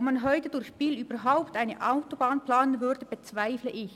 Ob man heute durch Biel überhaupt eine Autobahn planen würde, bezweifele ich.